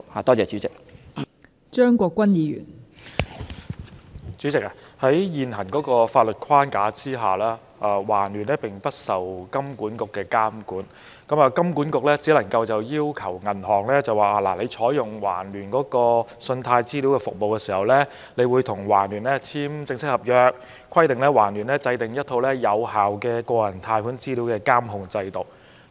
代理主席，在現行的法律框架下，環聯並不受金管局的監管，金管局只能要求銀行在採用環聯信貸資料服務時，與其簽署正式合約，規定對方制訂一套有效的個人貸款資料監控制度。